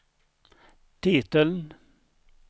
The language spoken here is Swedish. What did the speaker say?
titeln